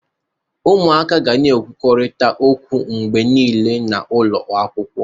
Ụmụaka ga na-ekwurịta okwu mgbe niile n'ụlọ akwụkwọ.